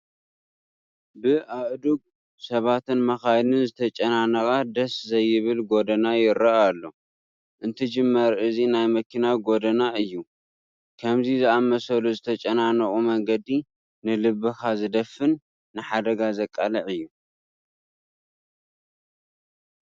ብኣእዱግ፣ ሰባትን መኻይንን ዝተጨናነቐ ደስ ዘይብል ጐደና ይርአ ኣሎ፡፡ እንትጅመር እዚ ናይ መኪና ጐደና እዩ፡፡ ከምዚ ዝኣምሰሉ ዝተጨናነቑ መንገዲ ንልብኻ ዝደፍን ንሓደጋ ዘቃልዕ እዩ፡፡